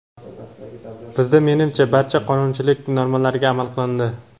Bizda, menimcha, barcha qonunchilik normalariga amal qilindi.